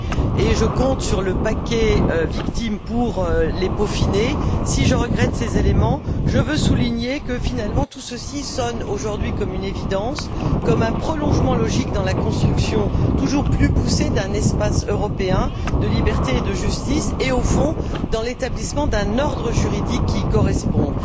et je compte sur le paquet victimes pour les peaufiner je veux souligner que, finalement, tout ceci sonne, aujourd'hui, comme une évidence, comme un prolongement logique de la construction toujours plus poussée d'un espace européen de liberté et de justice et au fond, de l'établissement d'un ordre juridique qui y corresponde.